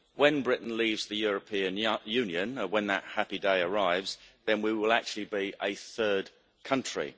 When Britain leaves the European Union when that happy day arrives then we will actually be a third country.